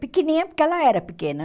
Pequenininha porque ela era pequena.